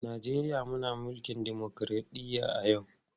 Najeriya muna mulkin dimokradɗiyya a yau.